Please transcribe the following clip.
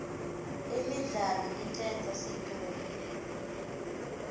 imidlalo icedza situnge